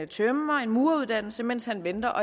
tømrer eller mureruddannelse mens han venter